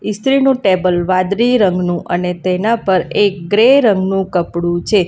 ઈસ્ત્રીનું table વાદળી રંગનું અને તેના પર એક ગ્રે રંગનું કપડું છે.